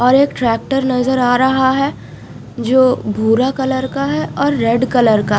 और एक ट्रैक्टर नजर आ रहा है जो भूरा कलर का है और रेड कलर का--